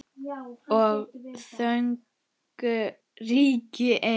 Og þögnin ríkir ein.